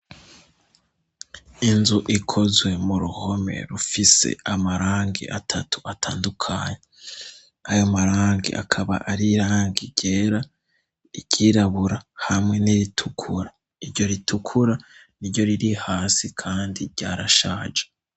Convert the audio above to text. Inzu ikozwe mu ruhome rufise amarangi atatu atandukanye ayo marangi akaba arirangigera igyirabura hamwe n'iritukura iryo ritukura ni ryo riri hasi kandi ryarashaje.